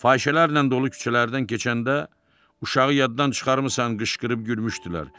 Fahişələrlə dolu küçələrdən keçəndə, uşağı yaddan çıxarmısan qışqırıb gülmüşdülər.